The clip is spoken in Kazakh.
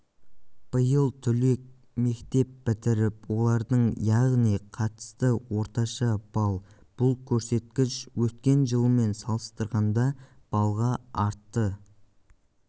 биыл түлек мектеп бітіріп олардың яғни қатысты орташа балл бұл көрсеткіш өткен жылмен салыстырғанда балға артты